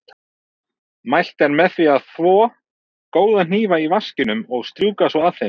Mælt er með því að þvo góða hnífa í vaskinum og strjúka svo af þeim.